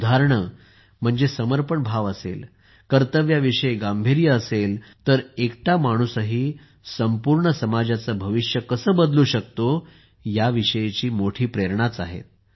ही उदाहरणे म्हणजे समर्पण भाव असेल कर्तव्याविषयी गांभीर्य असेल तर एकटा माणूसही संपूर्ण समाजाचे भविष्य कसे बदलू शकतो ह्या विषयीची मोठी प्रेरणाच आहेत